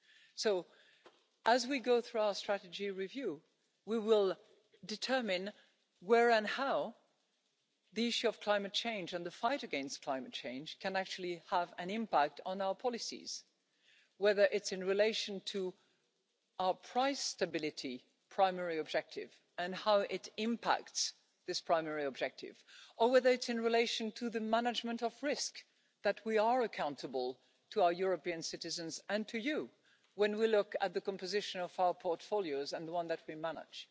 So as we go through our strategy review, we will determine where and how the issue of climate change and the fight against climate change can actually have an impact on our policies, whether it's in relation to our price stability primary objective and how it impacts this primary objective, or whether it's in relation to the management of risk that we are accountable to our European citizens and to you when we look at the composition of our portfolios and the one that we manage,